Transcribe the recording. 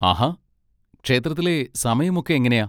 ആഹാ! ക്ഷേത്രത്തിലെ സമയം ഒക്കെ എങ്ങനെയാ?